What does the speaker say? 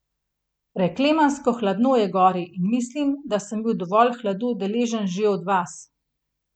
Preklemansko hladno je gori in mislim, da sem bil dovolj hladu deležen že od vas.